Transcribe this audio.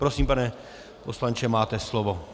Prosím, pane poslanče, máte slovo.